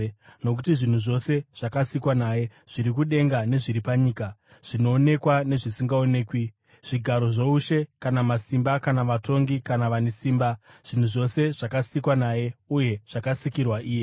Nokuti zvinhu zvose zvakasikwa naye: zviri kudenga nezviri panyika, zvinoonekwa nezvisingaonekwi, zvigaro zvoushe kana masimba kana vatongi kana vane simba; zvinhu zvose zvakasikwa naye uye zvakasikirwa iye.